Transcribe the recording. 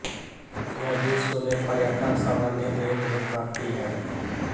यह विश्व में पर्यटन संबंधी देखरेख करती है